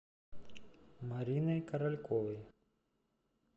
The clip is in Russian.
мариной корольковой